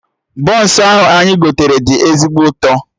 Bọns ahụ anyị gotere do ezigbo ụtọ